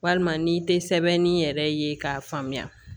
Walima n'i tɛ sɛbɛnni yɛrɛ ye k'a faamuya